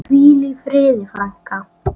Hvíl í friði, frænka.